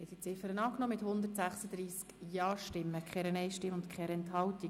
Sie haben die Ziffer 1 angenommen mit 136 Ja-, 0 Nein-Stimmen bei 0 Enthaltungen.